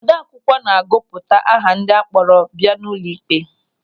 Ode akwụkwọ na-agụpụta aha ndị akpọrọ bịa ụlọịkpe.